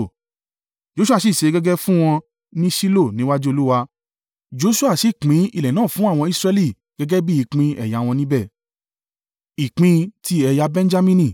Joṣua sì ṣẹ́ gègé fún wọn ní Ṣilo ní iwájú Olúwa, Joṣua sì pín ilẹ̀ náà fún àwọn Israẹli gẹ́gẹ́ bí ìpín ẹ̀yà wọn ní ibẹ̀.